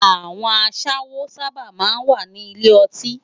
Awòn àṣáwó sàbá má n wá ni ilé òtín